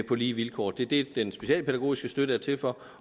på lige vilkår det er det den specialpædagogiske støtte er til for